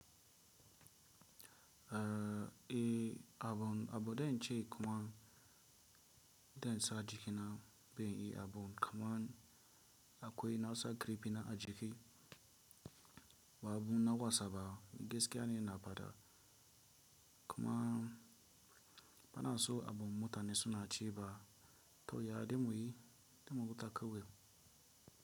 Eh, abun abu da in ce kaman dan sa jiki na zanyi abun kaman akoi nasa karfi na a jiki ba abu na wasa ba, gaskiya ne na faɗa kuma bana so abun mutane suna ce ba to ya, za muyi dai mu huta kawai.